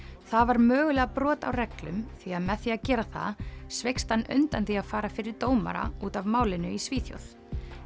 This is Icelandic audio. það var mögulega brot á reglum því að með því að gera það sveikst hann undan því að fara fyrir dómara út af málinu í Svíþjóð